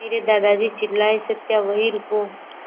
मेरे दादाजी चिल्लाए सत्या वहीं रुको